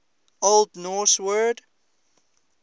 old norse word